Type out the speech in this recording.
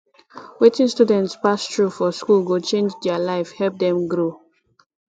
wetin students pass through for school go change their life help dem grow